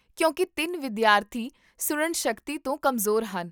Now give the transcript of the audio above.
ਕਿਉਂਕਿ ਤਿੰਨ ਵਿਦਿਆਰਥੀ ਸੁਣਨ ਸ਼ਕਤੀ ਤੋਂ ਕਮਜ਼ੋਰ ਹਨ